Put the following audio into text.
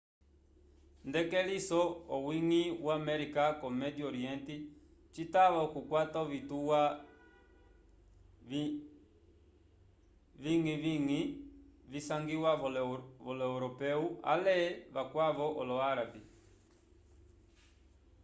nd'elekiso owiñgi wo américa ko médio oriente citava okukwata ovituwa viñgiviñgi visangiwa volo europeu ale vakwavo olo-árabe